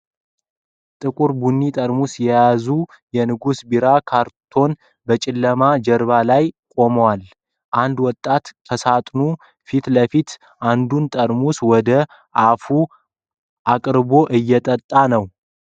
ጥቁር ቡኒ ጠርሙሶች የያዘ የንጉስ ቢራ ካርቶን በጨለማ ጀርባ ላይ ቆሟል። አንድ ወጣት ከሳጥኑ ፊት ለፊት አንዱን ጠርሙስ ወደ አፉ አቅርቦ እይጠጣ ነው።